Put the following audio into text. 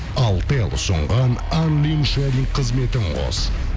алтел ұсынған қызметін қос